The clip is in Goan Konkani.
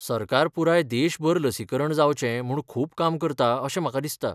सरकार पुराय देशभर लसीकरण जावचें म्हूण खूब काम करता अशें म्हाका दिसता.